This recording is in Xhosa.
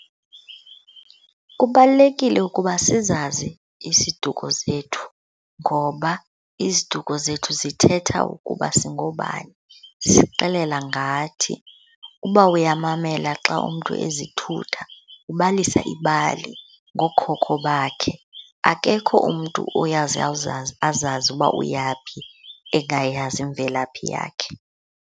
Kubalulekile ukuba sizazi isiduko zethu ngoba iziduko zethu zithetha ukuba singoobani, zisixelela ngathi. Uba uyamamela xa umntu ezithutha, ubalisa ibali ngookhokho bakhe. Akekho umntu oyaze awuzazi azazi uba uyaphi engayazi imvelaphi yakhe.